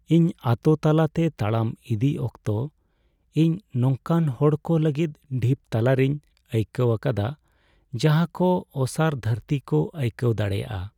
ᱤᱧ ᱟᱛᱳ ᱛᱟᱞᱟᱛᱮ ᱛᱟᱲᱟᱢ ᱤᱫᱤᱭ ᱚᱠᱛᱚ, ᱤᱧ ᱱᱚᱝᱠᱟᱱ ᱦᱚᱲᱠᱚ ᱞᱟᱹᱜᱤᱫ ᱰᱷᱤᱯ ᱛᱟᱞᱟᱨᱮᱧ ᱟᱹᱭᱠᱟᱹᱣ ᱟᱠᱟᱫᱟ ᱡᱟᱦᱟᱭ ᱠᱚ ᱚᱥᱟᱨ ᱫᱷᱟᱹᱨᱛᱤ ᱠᱚ ᱟᱹᱭᱠᱟᱹᱣ ᱫᱟᱲᱮᱭᱟᱜᱼᱟ ᱾